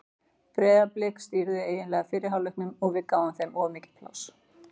Breiðablik stýrði eiginlega fyrri hálfleiknum og við gáfum þeim of mikið pláss.